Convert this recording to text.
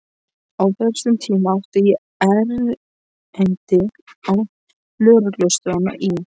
Á þessum tíma átti ég erindi á lögreglustöðina í